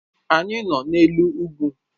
Anyị nọ n'elu ugwu